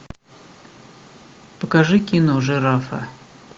покажи кино жирафа